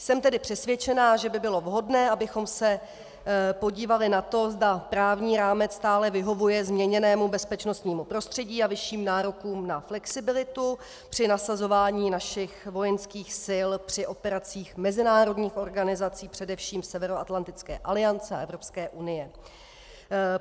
Jsem tedy přesvědčena, že by bylo vhodné, abychom se podívali na to, zda právní rámec stále vyhovuje změněnému bezpečnostnímu prostředí a vyšším nárokům na flexibilitu při nasazování našich vojenských sil při operacích mezinárodních organizací, především Severoatlantické aliance a Evropské unie.